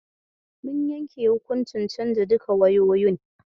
Mun yanke hukuncin canza duka wayoyin.